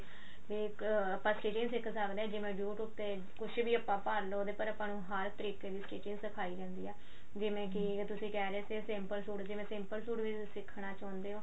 ਤੇ ਇੱਕ ਆਪਾਂ ਸ੍ਤੀਚਿਗ ਸਿੱਖ ਸਕਦੇ ਹਾਂ ਜਿਵੇਂ YouTube ਤੇ ਕੁੱਝ ਵੀ ਆਪਾਂ ਭਾਲ ਲਓ ਉਹਦੇ ਪਰ ਆਪਾਂ ਨੂੰ ਹਰ ਤਰੀਕੇ ਦੀ stiching ਸਿਖਾਈ ਜਾਂਦੀ ਆ ਜਿਵੇਂ ਕੀ ਤੁਸੀਂ ਕਿਹ ਰਹੇ ਸੀ simple ਸੂਟ ਜਿਵੇਂ simple ਸੂਟ ਵੀ ਸਿੱਖਣਾ ਚਾਹੁੰਦੇ ਹੋ